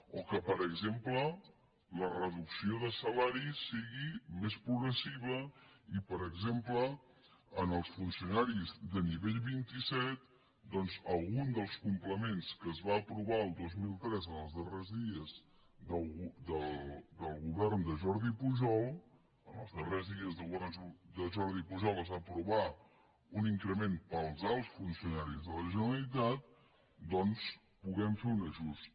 o que per exemple la reducció de salaris sigui més progressiva i per exemple als funcionaris de nivell vint set doncs en algun dels complements que es van aprovar el dos mil tres en els darrers dies del govern de jordi pujol els darrers dies del govern de jordi pujol es va aprovar un increment per als alts funcionaris de la generalitat doncs puguem fer un ajust